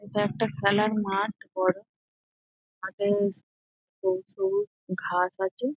এটা একটা খেলার মাঠ বড়। মাঠে সবুজ সবুজ ঘাস আছে।